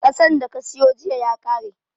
Ƙasan da ka siyo jiya ya ƙare